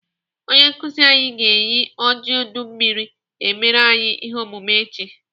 Onye nkụzi anyị ga-eji ojiọdụanụmmiri emere anyị ihe omume echi.